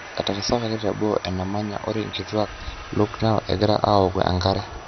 Etarasakaki teboo enemanya ore nkituak Lucknow egira awoku enkare.